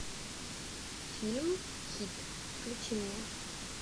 фильм хит включи мне